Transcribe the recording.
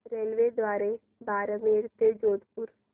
रेल्वेद्वारे बारमेर ते जोधपुर